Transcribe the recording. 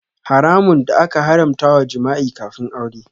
Haramun da aka haramta wa jima'i kafin aure.